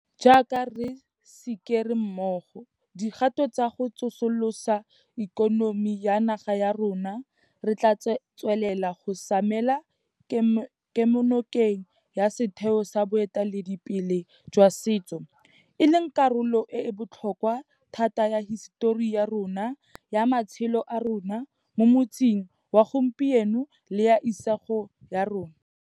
Jaaka re sikere mmogo dikgato tsa go tsosolosa ikonomi ya naga ya rona, re tla tswelela go samela kemonokeng ya setheo sa boiteledipele jwa setso, e leng karolo e e botlhokwa thata ya hisetori ya rona, ya matshelo a rona mo motsing wa gompieno le ya isago ya rona.